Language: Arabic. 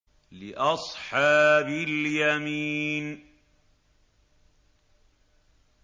لِّأَصْحَابِ الْيَمِينِ